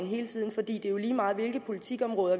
hele tiden for det er jo efterhånden lige meget hvilke politikområder